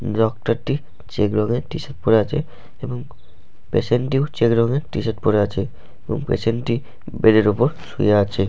doctor টি check রঙের টি শার্ট পরে আছে এবং পেসেন্ট টিও চেক রঙের টি শার্ট পরে আছে এবং পেসেন্ট টি বেড এর ওপর শুয়ে আছে--